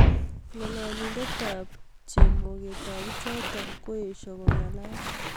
Ngololindetab chemogetab bichotok koesho kongalalal